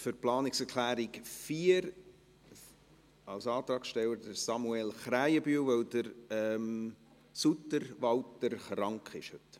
Für die Planungserklärung 4 als Antragssteller, Samuel Krähenbühl, weil Walter Suter krank ist.